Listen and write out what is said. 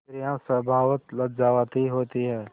स्त्रियॉँ स्वभावतः लज्जावती होती हैं